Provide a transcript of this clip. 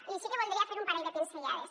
i sí que hi voldria fer un parell de pinzellades